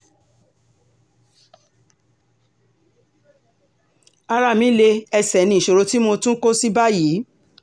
ara mi lé ẹsẹ̀ ní ìṣòro tí mo tún kó sí báyìí